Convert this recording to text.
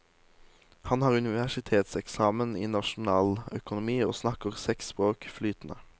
Han har universitetseksamen i nasjonaløkonomi og snakker seks språk flytende.